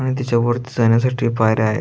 आणि त्याच्यावरती जाण्यासाठी पायऱ्या आहेत.